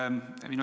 Aitäh!